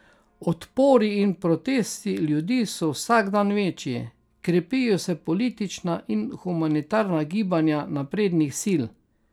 Odpori in protesti ljudi so vsak dan večji, krepijo se politična in humanitarna gibanja naprednih sil, ki zagovarjajo uvedbo postdemokracije in demokratičnega socializma.